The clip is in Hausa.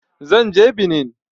Zan je Benin